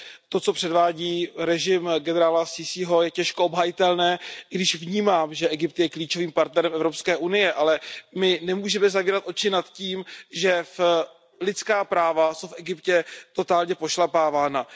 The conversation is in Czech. To, co předvádí režim generála Sísího, je těžko obhajitelné, i když vnímám, že Egypt je klíčovým partnerem Evropské unie, ale my nemůžeme zavírat oči nad tím, že lidská práva jsou v Egyptě totálně pošlapávána.